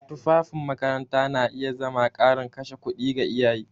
Tufafin makaranta na iya zama ƙarin kashe kuɗi ga iyaye.